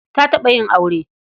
Ta taɓa yin aure.